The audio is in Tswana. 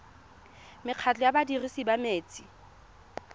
mekgatlho ya badirisi ba metsi